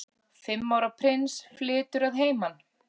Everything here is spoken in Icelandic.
Fimm ára prins flytur að heiman